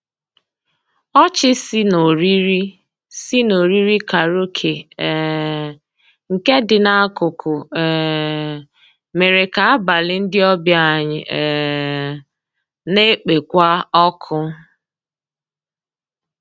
Ọchị sì n'òrìrì sì n'òrìrì kàráòké um nkè dị n'akụkụ um mèrè kà àbàlí ndị ọbìà anyị um nà-ekpékwa ọkụ.